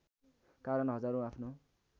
कारण हजारौँ आफ्नो